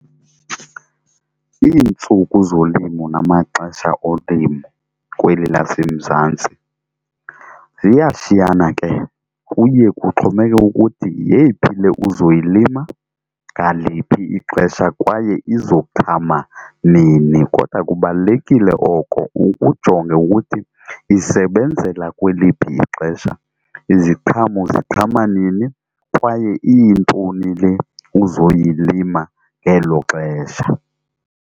Iintsuku zolimo namaxesha olimo kweli laseMzantsi, ziyashiywna ke kuye kuxhomekeke ukuthi yeyiphi le uzoyilima ngaliphi ixesha kwaye izoqhama nini. Kodwa kubalulekile oko ukujonge ukuthi isebenzela kweliphi ixesha, iziqhamo ziqhama nini, kwaye iyintoni le uzoyilima ngelo xesha.